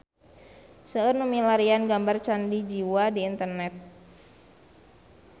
Seueur nu milarian gambar Candi Jiwa di internet